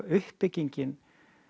uppbyggingin